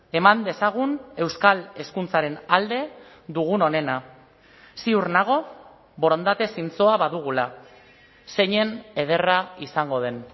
eman dezagun euskal hezkuntzaren alde dugun onena ziur nago borondate zintzoa badugula zeinen ederra izango den